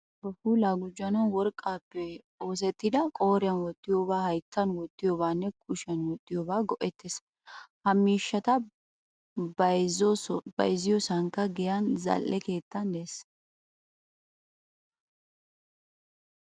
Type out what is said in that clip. Asay ba puulaa gujjanawu worqqappe oosettida qooriyan wottiyoba hayttan wottiyobatanne kushiyan wottiyobata go'etees. Ha miishshata bayzziyosaykka giyan zal'ee keettan de'ees.